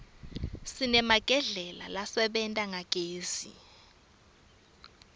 sinemagedlela lasebenta ngagezi